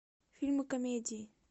фильмы комедии